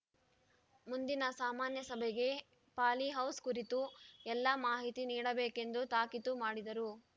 ಮುಂದಿನ ಸಾಮಾನ್ಯ ಸಭೆಗೆ ಪಾಲಿಹೌಸ್‌ ಕುರಿತು ಎಲ್ಲ ಮಾಹಿತಿ ನೀಡಬೇಕೆಂದು ತಾಕೀತು ಮಾಡಿದರು